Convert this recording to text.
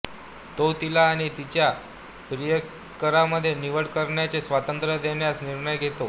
तो तिला आणि तिच्या प्रियकरामध्ये निवड करण्याचे स्वातंत्र्य देण्याचा निर्णय घेतो